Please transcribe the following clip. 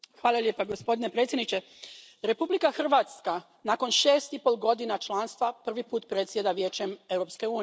Poštovani predsjedniče, Republika Hrvatska nakon šest i pol godina članstva prvi put predsjeda Vijećem Europske unije.